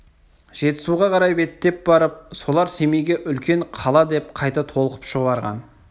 жетісуға қарай беттеп барып солар семейге үлкен қала деп қайта толқып шұбырған